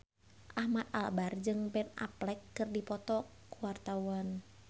Ahmad Albar jeung Ben Affleck keur dipoto ku wartawan